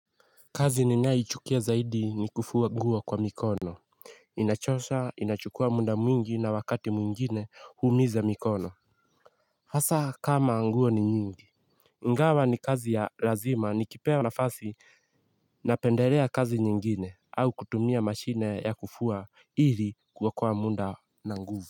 Kazi ninaichukia zaidi ni kufua nguo kwa mikono. Inachosha, inachukua muda mwingi na wakati mwingine humiza mikono. Hasa kama nguo ni nyingi. Ingawa ni kazi ya lazima nikipewa nafasi napendelea kazi nyingine au kutumia mashine ya kufua ili kuokoa muda na nguvu.